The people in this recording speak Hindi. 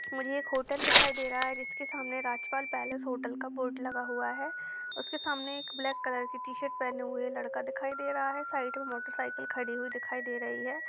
मुझे एक होटल दिखाई दे रहा है जिसके सामने राज पाल पैलस होटल का बोर्ड लगा हुआ है उसके सामने एक ब्लैक कलर की टी शर्ट पेहने हुवे लड़का दिखाई दे रहा है साइड मे मोटर साइकिल खड़ी हुवी दिखाई दे रही है।